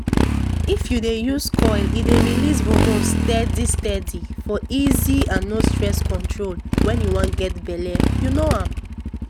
if u dey use coil e dey release hormones steady steady for easy and no stress control wen u wan get belle u know am